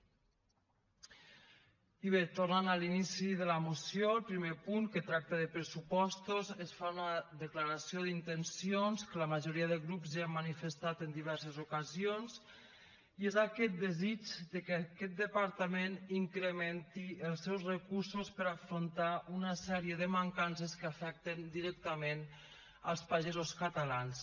i bé tornant a l’inici de la moció al primer punt que tracta de pressupostos es fa una declaració d’intencions que la majoria de grups ja hem manifestat en diverses ocasions i és aquest desig que aquest departament incrementi els seus recursos per afrontar una sèrie de mancances que afecten directament els pagesos catalans